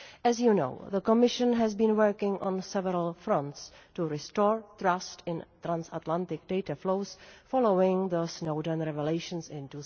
As you know, the Commission has been working on several fronts to restore trust in transatlantic data flows following the Snowden revelations in